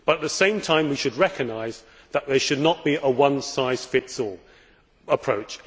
But at the same time we should recognise that there should not be a one size fits all approach.